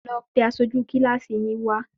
Lọ pe aṣojú kílàsì yín wá?